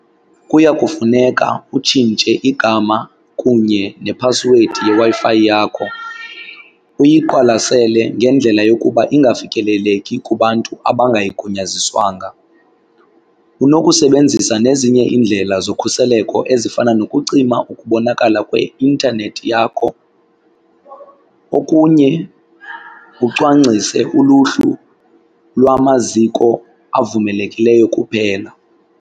Kuya kufuneka utshintshe igama kunye nephasiwedi yeWi-Fi yakho uyiqalwasele ngendlela yokuba ingafikeleleki kubantu abangayigunyaziswanga. Unokusebenzisa nezinye iindlela zokhuseleko ezifana nokucima ukubonakala kweintanethi yakho. Okunye ucwangcise uluhlu lwamaziko avumelekileyo kuphela.